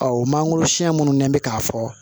Ɔ o mangoro siyɛn minnu n'an bɛ k'a fɔ